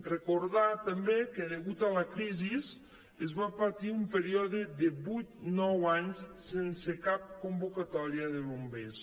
recordar també que degut a la crisi es va patir un període de vuit nou anys sense cap convocatòria de bombers